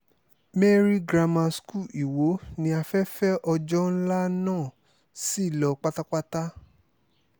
mary grammar school ìwo ni afẹ́fẹ́ ọjọ́ ńlá náà sì lọ pátápátá